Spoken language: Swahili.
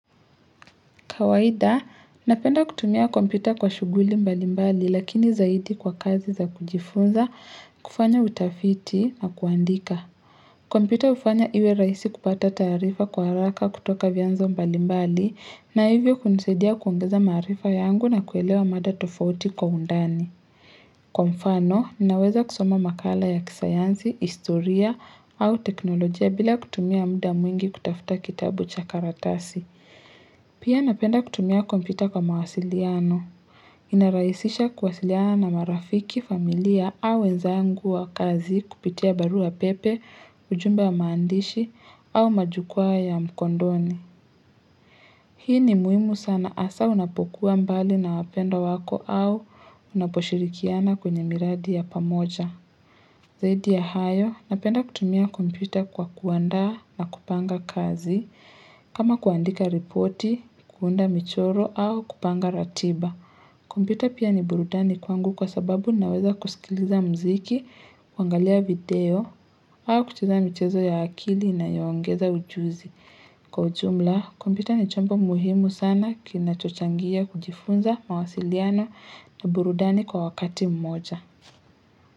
Kawaida, napenda kutumia kompyuta kwa shughuli mbali mbali lakini zaidi kwa kazi za kujifunza, kufanya utafiti, na kuandika. Kompyuta hufanya iwe rahisi kupata taarifa kwa haraka kutoka vianzo mbali mbali na hivyo kunisaidia kuongeza maarifa yangu na kuelewa mada tofauti kwa undani. Kwa mfano, naweza kusoma makala ya kisayansi, historia au teknolojia bila kutumia muda mwingi kutafuta kitabu cha karatasi. Pia napenda kutumia kompyuta kwa mawasiliano. Inarahisisha kuwasiliana na marafiki, familia au wenzangu wa kazi kupitia barua pepe, ujumbe wa maandishi au majukwa ya mkondoni. Hii ni muhimu sana hasa unapokuwa mbali na wapendwa wako au unaposhirikiana kwenye miradi ya pamoja. Zaidi ya hayo, napenda kutumia kompyuta kwa kuanda na kupanga kazi, kama kuandika ripoti, kuunda michoro, au kupanga ratiba. Kompyuta pia ni burudani kwangu kwa sababu naweza kusikiliza mziki, kuangalia video, au kucheza michezo ya akili inayoongeza ujuzi. Kwa ujumla, kompyuta ni chombo muhimu sana kinachochangia kujifunza mawasiliano na burudani kwa wakati mmoja.